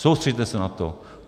Soustřeďte se na to.